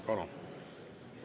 Palun!